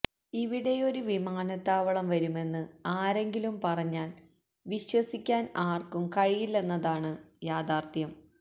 ഇവിടെയൊരു വിമാനത്താവളം വരുമെന്ന് ആരെങ്കിലും പറഞ്ഞാല് വിശ്വസിക്കാന് ആര്ക്കും കഴിയില്ലെന്നതാണ് യാഥാര്ഥ്യം